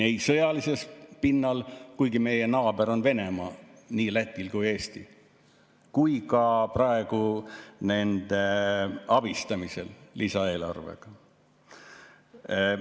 Ei sõjalisel pinnal, kuigi naaber on Venemaa nii Lätil kui ka Eestil, ega ka nende abistamisel lisaeelarvega.